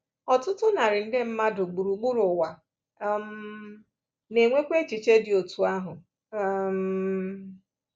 Ọtụtụ narị nde mmadụ gburugburu ụwa um na-enwekwa echiche dị otú ahụ. um